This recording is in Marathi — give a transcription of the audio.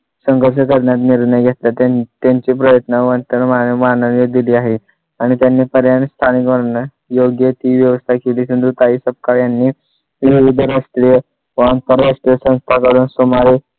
संघर्ष करण्यास निर्णय घेतला त्यांनी त्यांचे प्रयत्न मानाने दिले आहे आणि त्यांनी पर्याय आणि स्थानिक वर्णन योग्य ती व्यवसाय केली. सिंधुताई सपकाळ यांनी निर्भर असलेले वाहन परराष्ट्रीय संस्था घडवून सुमारे